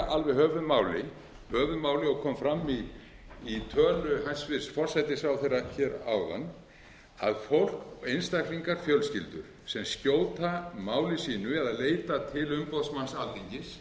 alveg höfuðmáli og kom fram í tölu hæstvirtur forsætisráðherra hér áðan að fólk einstaklingar fjölskyldur sem skjóta máli sínu eða veita til